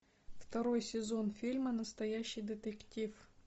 второй сезон фильма настоящий детектив